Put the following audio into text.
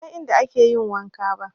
Ban san inda ake yin wanka ba